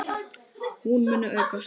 Hún muni aukast!